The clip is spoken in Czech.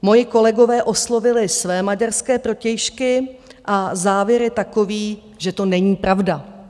Moji kolegové oslovili své maďarské protějšky a závěr je takový, že to není pravda.